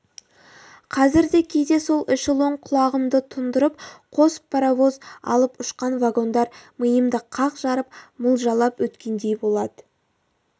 қазір де кейде сол эшелон құлағымды тұндырып қос паровоз алып ұшқан вагондар миымды қақ жарып мылжалап өткендей болады